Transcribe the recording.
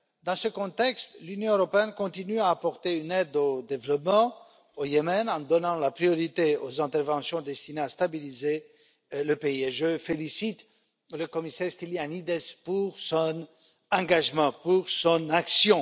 Dans ce contexte, l'Union européenne continue à apporter une aide au développement au Yémen en donnant la priorité aux interventions destinées à stabiliser le pays et je félicite le commissaire Stylianides pour son engagement et pour son action.